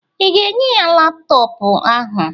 ị ga-enye ya laptọọpụ ahụ?